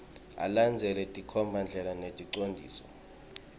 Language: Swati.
alandzele tinkhombandlela neticondziso